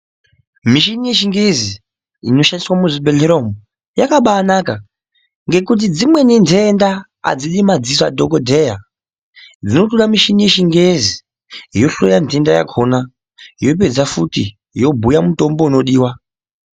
Mishini yechingezi inoshandiswa muzvibhedhleya umu yakaba anaka ngekuti dzimweni ndenda adzidi madziso adhokodheya, dzinotoda mishini yechingezi, yohloya nhenda yakhona, yopedza futi yobhuya mutombo unodiwa.